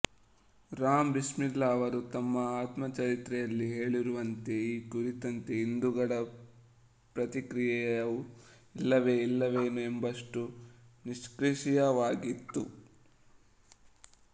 ರಾಮ್ ಬಿಸ್ಮಿಲ್ಲಾ ಅವರು ತಮ್ಮ ಆತ್ಮ ಚರಿತ್ರೆಯಲ್ಲಿ ಹೇಳಿರುವಂತೆ ಈ ಕುರಿತಂತೆ ಹಿಂದೂಗಳ ಪ್ರತಿಕ್ರಿಯೆಯು ಇಲ್ಲವೇ ಇಲ್ಲವೇನೋ ಎಂಬಷ್ಟು ನಿಷ್ಕ್ರಿಯವಾಗಿತ್ತು